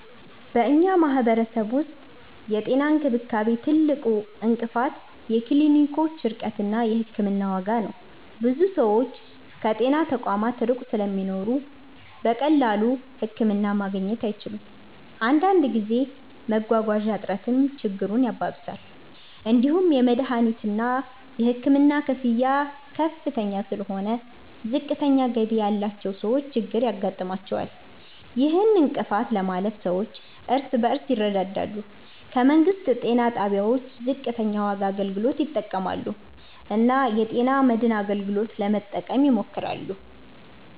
በእኛ ማህበረሰብ ውስጥ የጤና እንክብካቤ ትልቁ እንቅፋት የክሊኒኮች ርቀት እና የሕክምና ዋጋ ነው። ብዙ ሰዎች ከጤና ተቋማት ሩቅ ስለሚኖሩ በቀላሉ ህክምና ማግኘት አይችሉም። አንዳንድ ጊዜ መጓጓዣ እጥረትም ችግሩን ያባብሳል። እንዲሁም የመድሀኒትና የሕክምና ክፍያ ከፍ ስለሆነ ዝቅተኛ ገቢ ያላቸው ሰዎች ችግር ያጋጥማቸዋል። ይህን እንቅፋት ለማለፍ ሰዎች እርስ በርስ ይረዳዳሉ፣ ከመንግስት ጤና ጣቢያዎች ዝቅተኛ ዋጋ አገልግሎት ይጠቀማሉ እና የጤና መድን አገልግሎትን ለመጠቀም ይሞክራሉ።